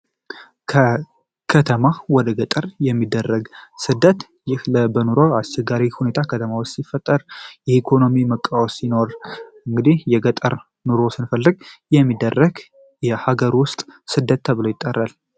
ከከተማ ወደ ገጠር የሚደረግ ስደት ይህ በኑሮ አስቸጋሪ ሁኔታ ከተማ ውስጥ ሲፈጠር የኢኮኖሚ መቃወስ ሲኖር እንግዲህ የገጠር ኑሮ ስንፈልግ የሚደረግ የሀገር ውስጥ ስደት ተብሎ ይጠራል።